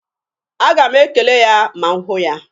A ga m ekele ya ma m hụ ya.